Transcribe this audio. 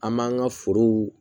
An b'an ka forow